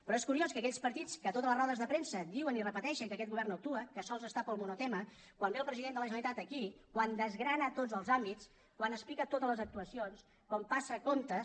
però és curiós que aquells partits que a totes les rodes de premsa diuen i repeteixen que aquest govern no actua que sols està pel monotema quan ve el president de la generalitat aquí quan desgrana tots els àmbits quan explica totes les actuacions quan passa comptes